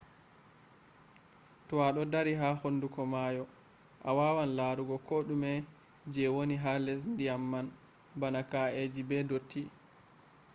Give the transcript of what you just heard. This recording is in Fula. to ado dari ha hunduko maayo a wawan larugo ko dume je woni ha les dyam man bana ka’eji be dotti